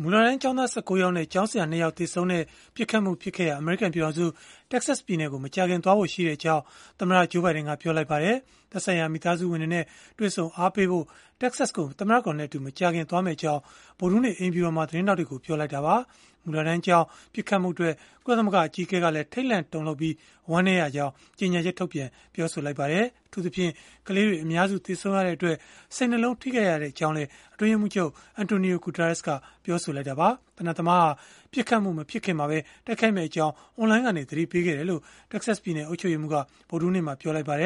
မူလတန်းကျောင်းသား ၁၉ ယောက်နဲ့ ဆရာ ၂ ယောက် သေဆုံးခဲ့တဲ့ ပစ်ခတ်မှုဖြစ်ခဲ့ရာ အမေရိကန် ပြည်ထောင်စု၊ တက္ကဆက်ပြည်နယ်ကို မကြာခင် သွားရောက်ဖို့ရှိကြောင်း သမ္မတ Joe Biden ကပြောလိုက်ပါတယ်။ သက်ဆိုင်ရာမိသားစုတွေနဲ့ တွေ့ဆုံအားပေးဖို့ တက္ကဆက်ကို သမ္မတကတော်နဲ့အတူ မကြာခင်သွားမယ့်အကြောင်း ဗုဒ္ဓဟူးနေ့ အိမ်ဖြူတော်မှာ သတင်းထောက်တွေကို ပြောလိုက်တာပါ။ မူလတန်းကျောင်း ပစ်ခတ်မှုအတွက် ကုလသမဂ္ဂ အကြီးအကဲကလည်း ထိတ်လန့်တုန်လှုပ်ပြီး ဝမ်းနည်းရကြောင်း ကြေညာချက် ထုတ်ပြန် ပြောဆိုခဲ့ပါတယ်။ အထူးသဖြင့် ကလေးတွေ အများစု သေဆုံးခဲ့ရတဲ့အတွက် စိတ်နှလုံးထိခိုက်ရကြောင်းလည်း အတွင်းရေးမှူးချုပ် Antonio Guterres ကပြောဆိုခဲ့ပါတယ်။ သေနတ်သမားဟာ ပစ်ခတ်မှု မဖြစ်ခင်မှာပဲ တိုက်ခိုက်မယ့်အကြောင်း အွန်လိုင်းကနေ ပြောခဲ့ကြောင်း တက္ကဆက်ပြည်နယ် အုပ်ချုပ်ရေးမှူးက ဗုဒ္ဓဟူးနေ့မှာပဲ ပြောခဲ့တာပါ။